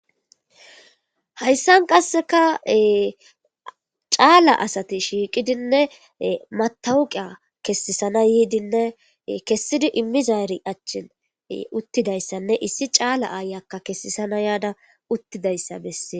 hayssan qasseka caala asati shiiqidinne matawuqiya kessisana yiidinne kessidi immizaari achchin uttidayssanne issi caala aayakka kessisana yaada uttidayssa bessees.